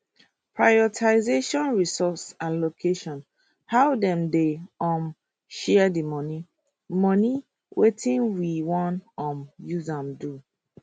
prioritization resource allocation how dem dey um share di money money wetin we wan um use am do